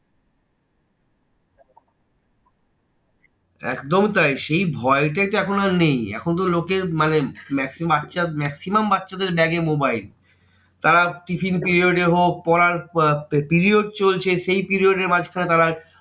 একদম তাই সেই ভয়টাই তো এখন আর নেই। এখন তো লোকের মানে maximum বাচ্চার maximum বাচ্চাদের ব্যাগে mobile তারা tiffin period এ হোক, পড়ার period চলছে, সেই period এর মাঝখানে তারা